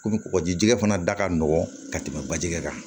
Komi kɔgɔji jɛgɛ fana da ka nɔgɔn ka tɛmɛ baji kɛ kan